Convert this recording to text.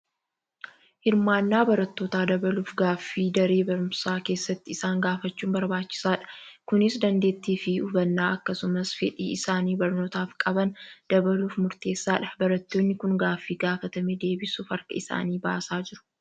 Hirmaannaa barattootaa dabaluuf gaaffii daree barumsaa keessatti isaan gaafachuun barbaachisaadha. Kunis dandeettii fi hubannaa akkasumas fedhii isaan barnootaaf qaban dabaluuf murteessaadha. Barattoonni kun gaaffii gaafatame deebisuuf harka isaanii baasaa jiru.